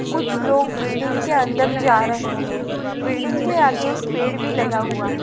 कुछ लोग बिल्डिंग के अंदर जा रहे हैं बिल्डिंग के आगे एक पेड़ भी लगा हुआ है ।